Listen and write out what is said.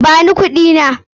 Ba ni kuɗina!